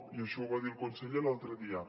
i això ho va dir el conseller l’altre dia